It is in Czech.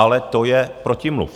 Ale to je protimluv.